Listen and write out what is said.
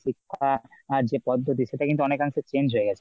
শিক্ষার যে পদ্ধতি সেটা কিন্তু অনেকাংশে change হয়ে গেছে।